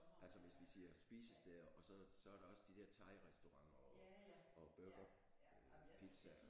Altså hvis vi siger spisesteder og så så er der også de der thairestauranter og og burger øh pizza og